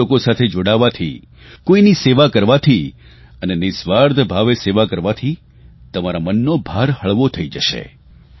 અન્ય લોકો સાથે જોડાવવાથી કોઇની સેવા કરવાથી અને નિઃસ્વાર્થભાવે સેવા કરવાથી તમારા મનનો બાર હળવો થઇ જશે